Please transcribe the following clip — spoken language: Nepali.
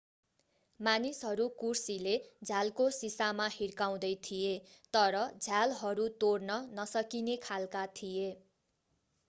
मानिसहरू कुर्सीले झ्यालको शिशामा हिर्काउँदै थिए तर झ्यालहरू तोड्न नसकिने खालका थिए